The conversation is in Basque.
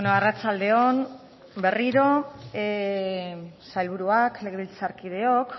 arratsalde on berriro sailburuak legebiltzarkideok